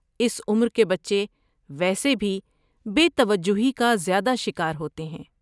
اس عمر کے بچے ویسے بھی بے توجہی کا زیادہ شکار ہوتے ہیں۔